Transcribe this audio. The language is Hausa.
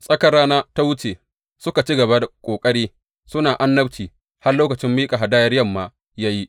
Tsakar rana ta wuce, suka ci gaba da ƙoƙari, suna annabci har lokacin miƙa hadayar yamma ya yi.